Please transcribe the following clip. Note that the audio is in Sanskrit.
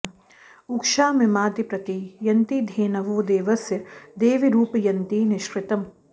उ॒क्षा मि॑माति॒ प्रति॑ यन्ति धे॒नवो॑ दे॒वस्य॑ दे॒वीरुप॑ यन्ति निष्कृ॒तम्